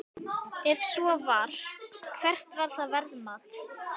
Ef svo var, hvert var það verðmat?